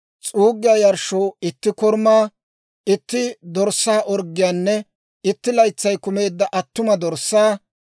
s'uuggiyaa yarshshoo itti korumaa, itti dorssaa orggiyaanne, itti laytsay kumeedda attuma dorssaa;